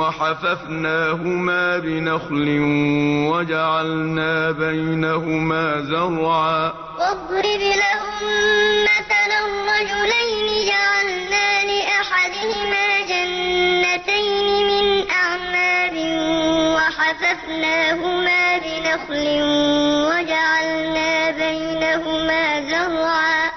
وَحَفَفْنَاهُمَا بِنَخْلٍ وَجَعَلْنَا بَيْنَهُمَا زَرْعًا ۞ وَاضْرِبْ لَهُم مَّثَلًا رَّجُلَيْنِ جَعَلْنَا لِأَحَدِهِمَا جَنَّتَيْنِ مِنْ أَعْنَابٍ وَحَفَفْنَاهُمَا بِنَخْلٍ وَجَعَلْنَا بَيْنَهُمَا زَرْعًا